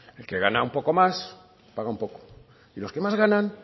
el que gana un poco más paga un poco y los que más ganan